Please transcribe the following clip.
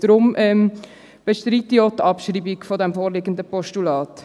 Daher bestreite ich auch die Abschreibung des vorliegenden Postulats.